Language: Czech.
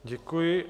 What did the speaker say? Děkuji.